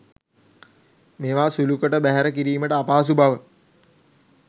මේවා සුළුකොට බැහැර කිරීමට අපහසු බව